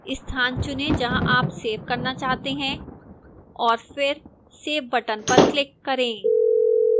स्थान चुनें जहां आप सेव करना चाहते हैं और फिर save button पर click करें